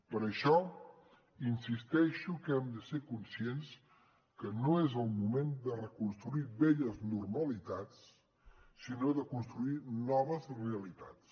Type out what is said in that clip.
per això insisteixo que hem de ser conscients que no és el moment de reconstruir velles normalitats sinó de construir noves realitats